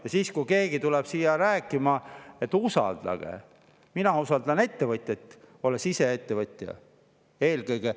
Ja siis, kui keegi tuleb siia rääkima, et usaldage – mina usaldan ettevõtjaid, olles ise ettevõtja, eelkõige.